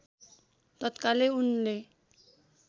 तत्कालै उनले